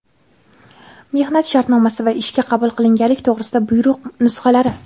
mehnat shartnomasi va ishga qabul qilinganlik to‘g‘risida buyruq nusxalari;.